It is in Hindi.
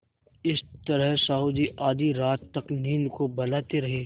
इस तरह साहु जी आधी रात तक नींद को बहलाते रहे